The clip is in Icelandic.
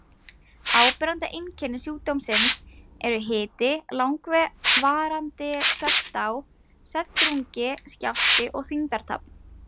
Áberandi einkenni sjúkdómsins eru hiti, langvarandi svefndá, svefndrungi, skjálfti og þyngdartap.